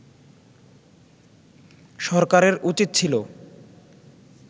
সরকারের উচিত ছিল